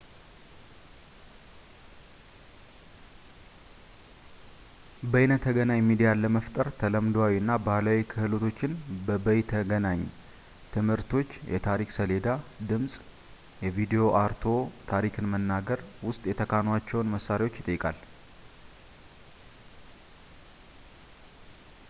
በይነተገናኝ ሚዲያ ለመፍጠር ተለምዶአዊ እና ባህላዊ ክህሎቶች በበይነተገኛ ትምህርቶቾ የታሪክ ሰሌዳ፣ ድምጽ እና ቪድዮ አርትዖት፣ ታሪክን መናገር ውስጥ የተካኗቸውን መሳሪያዎችን ይጠይቃል